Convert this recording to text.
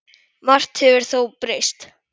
Margt hefur þó breyst.